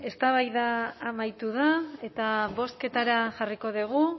eztabaida amaitu da eta bozketara jarriko dugu